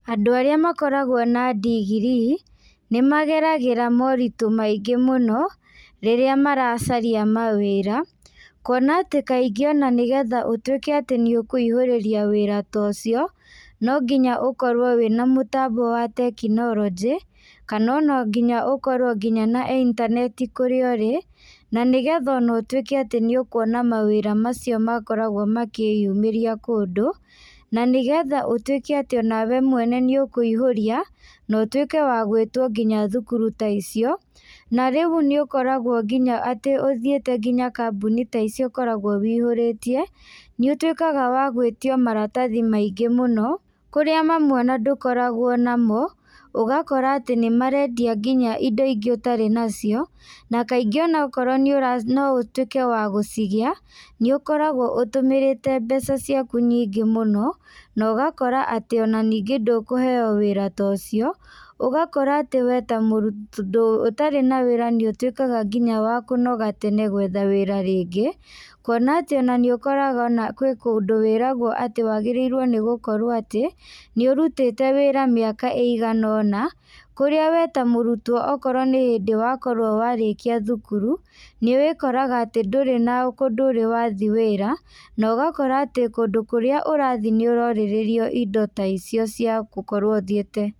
Andũ arĩa makoragwo na ndigirii, nĩmageragĩra moritũ maingĩ mũno, rĩrĩa maracaria mawĩra, kuona atĩ kaingĩ ona nĩgetha ũtuĩke atĩ nĩũkuihũrĩria wĩra ta ũcio, no nginya ũkorwo wĩna mũtambo wa tekinorojĩ, kana ona nginya ũkorwo nginya na intaneti kũrĩa ũrĩ, na nĩgetha ona ũtuĩke nĩ ũkuona mawĩra macio makoragwo makĩyumĩria kũndũ, na nĩgetha ũtuĩke atĩ onawe mwene nĩũkũihũria, na ũtuĩke wa gwĩtwo nginya thukuru ta icio, na rĩu nĩũkoragwo nginya atĩ ũthiĩte nginya kambuni ta icio ũkoragwo wĩihũrĩtie, nĩũtuĩkaga wa gwĩtio maratathi maingĩ mũno, kũrĩa mamwe ona ndũkoragwo namo, ũgakora atĩ nĩmaretia nginya indo ingĩ ũtarĩ nacio, na kaingĩ ona okorwo nĩũra noutuĩke wa gũcigĩa, nĩũkoragwo ũtũmĩrĩte mbeca ciaku nyingĩ mũno, na ũgakora atĩ ona nĩngĩ ndũkũheo wĩra ta ũcio, ũgakora atĩ we ta mũndũ ũtarĩ na wĩra nĩ ũtuĩkaga nginya wa kũnoga atĩ nĩ gwetha wĩra rĩnga, kuona atĩ ona nĩũkoraga ona kwĩ kũndũ wĩragwo atĩ wagĩrĩirwo nĩgũkorwo atĩ, nĩũrutĩte wĩra mĩaka ĩigana ona, kũrĩa we ta mũrutwo okorwo nw hindw wakorwo warĩkia thukuru, nĩwĩkoraga atĩ ndũrĩ na kandũ ũrĩ wathiĩ wĩra na ũgakora atĩ kũndũ kũrĩa ũrathiĩ nĩũrorĩrĩrio indo ta icio cia gũkorwo ũthiĩte.